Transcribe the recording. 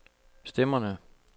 stemmerne